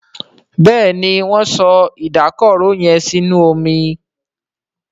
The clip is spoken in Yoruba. Béèni Wón so Ìdákọrò yén sínú omí.